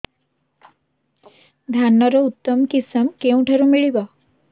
ଧାନର ଉତ୍ତମ କିଶମ କେଉଁଠାରୁ ମିଳିବ